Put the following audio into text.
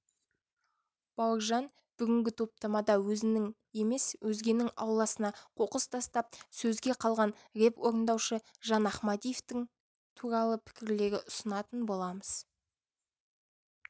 бауыржан бүгінгі топтамада өзінің емес өзгенің ауласына қоқыс тастап сөзге қалған рэп орындаушы жан ахмадиевтің туралы пікірлерді ұсынатын боламыз